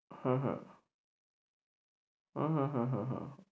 হ্যাঁ হ্যাঁ হ্যাঁ হ্যাঁ হ্যাঁ